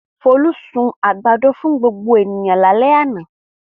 Folú sun àgbàdo fún gbogbo ènìyàn lálẹ́ àná.